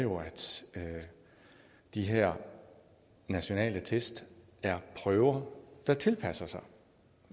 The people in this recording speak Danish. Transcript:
de her nationale test er prøver der tilpasser sig